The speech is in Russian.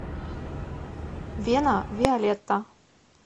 вена виолетта